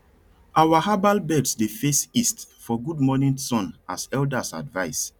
our herbal beds dey face east for good morning sun as elders advise